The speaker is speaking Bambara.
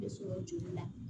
Ne sɔrɔ joli la